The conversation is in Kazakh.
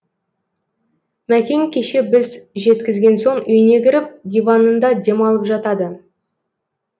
мәкең кеше біз жеткізген соң үйіне кіріп диванында демалып жатады